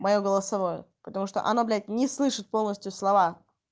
моё голосовое потому что оно блядь не слышит полностью слова